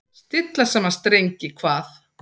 Stilla saman strengi hvað?